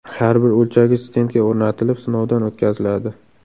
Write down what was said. Har bir o‘lchagich stendga o‘rnatilib, sinovdan o‘tkaziladi.